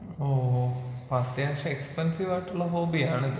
ഓഹ് ഓഹ് അപ്പൊ അത്യാവശ്യം എക്സ്പെൻസീവായിട്ടുള്ള ഹോബിയാണിത്.